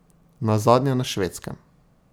Nazadnje na Švedskem.